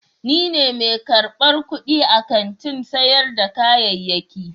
Ni ne mai karbar kudi a kantin sayar da kayayyaki.